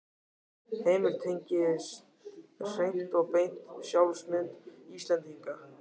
Heimir: Tengjast hreint og beint sjálfsmynd Íslendinga?